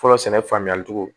Fɔlɔ sɛnɛ faamuyali cogo